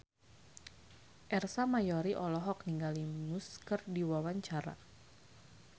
Ersa Mayori olohok ningali Muse keur diwawancara